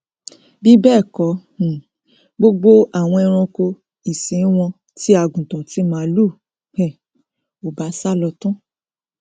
bíbẹẹkọ um gbogbo àwọn eranko ìsìn wọn ti àgùntàn ti màlúù um ò bá sálọ tán